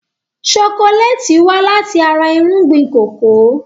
Ṣokoléètì wá láti ara irúgbìn kòkó.